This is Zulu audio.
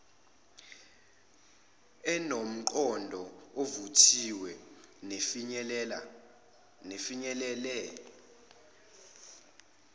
enomqondo ovuthiwe nefinyelele